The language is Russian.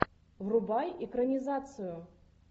врубай экранизацию